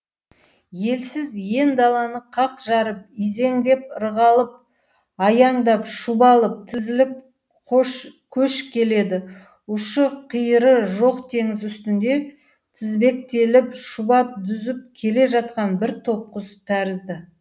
елсіз ен даланы қақ жарып изеңдеп ырғалып аяңдап шұбалып тізіліп көш келеді ұшы қиыры жоқ теңіз үстінде тізбектеліп шұбап дүзіп келе жатқан бір топ құс тәрізді